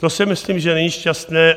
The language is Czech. To si myslím, že není šťastné.